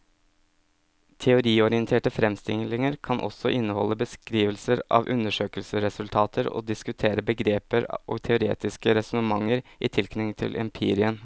Teoriorienterte fremstillinger kan også inneholde beskrivelser av undersøkelsesresultater og diskutere begreper og teoretiske resonnementer i tilknytning til empirien.